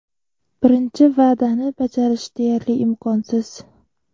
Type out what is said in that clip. Birinchi va’dani bajarish deyarli imkonsiz.